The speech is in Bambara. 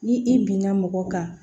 Ni i binna mɔgɔ kan